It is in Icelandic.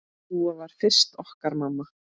Dúa varð fyrst okkar mamma.